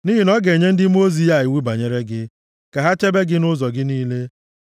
Nʼihi na ọ ga-enye ndị mmụọ ozi ya iwu banyere gị, ka ha chebe gị nʼụzọ gị niile. + 91:11 \+xt Abụ 34:7; Mat 4:6; Luk 4:10; Hib 1:14\+xt*